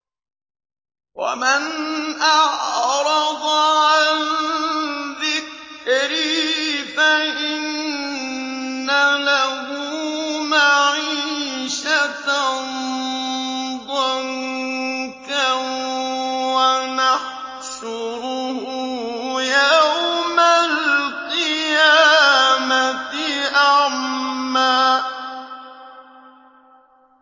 وَمَنْ أَعْرَضَ عَن ذِكْرِي فَإِنَّ لَهُ مَعِيشَةً ضَنكًا وَنَحْشُرُهُ يَوْمَ الْقِيَامَةِ أَعْمَىٰ